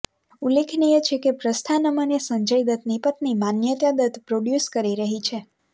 ઉલ્લેખનીય છે કે પ્રસ્થાનમને સંજય દત્તની પત્ની માન્યતા દત્ત પ્રોડ્યુસ કરી રહી છે